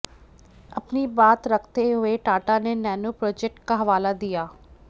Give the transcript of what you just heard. अपनी बात रखते हुए टाटा ने नैनो प्रोजेक्ट का हवाला दिया